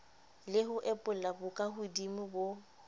le ho epolla bokahodimo bo